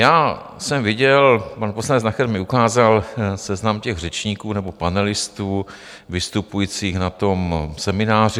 Já jsem viděl, pan poslanec Nacher mi ukázal seznam těch řečníků nebo panelistů vystupujících na tom semináři.